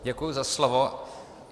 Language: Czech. Děkuji za slovo.